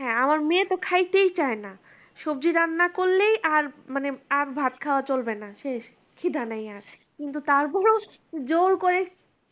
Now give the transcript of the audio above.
হাঁ আমার মেয়ে তো খাইতেই চাইনা সবজি রান্না করলেই আর মানে আর ভাত খাওয়া চলবে না শেষ খিদা নাই আর কিন্তু তারপরেও জোর করে